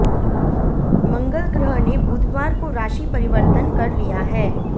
मंगल ग्रह ने बुधवार को राशि परिवर्तन कर लिया है